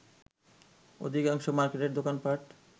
অধিকাংশ মাকের্টের দোকানপাট